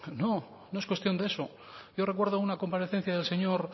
no no es cuestión de eso yo recuerdo una comparecencia del señor